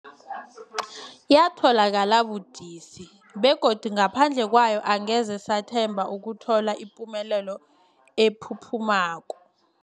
Yatholakala budisi, begodu ngaphandle kwayo angeze sathemba ukuthola ipumelelo ephuphumako.